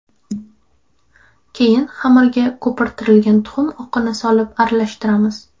Keyin xamirga ko‘pirtirilgan tuxum oqini solib aralashtiramiz.